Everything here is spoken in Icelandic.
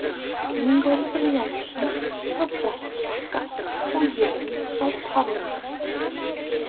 Ingólfur Jónsson frá Prestbakka og Jón frá Pálmholti.